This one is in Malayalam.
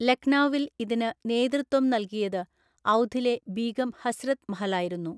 ലക്നൗവിൽ ഇതിന് നേതൃത്വം നൽകിയത് ഔധിലെ ബീഗം ഹസ്രത് മഹളായിരുന്നു.